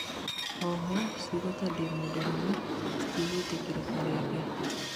oho, cĩugo ta "ndĩ mũndũrume," citigwĩtikirĩka rĩngĩ